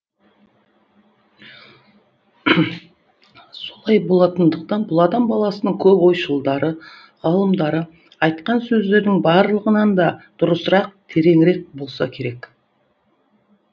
солай болатындықтан бұл адам баласының көп ойшылдары ғалымдары айтқан сөздердің барлығынан да дұрысырақ тереңірек болса керек